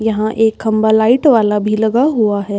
यहाँ एक खंभा लाइट वाला भी लगा हुआ है।